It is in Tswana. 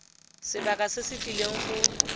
sebaka se se tlileng go